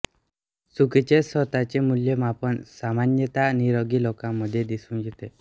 चुकीचे स्वत चे मूल्यमापन सामान्यतः निरोगी लोकांमध्ये दिसून येते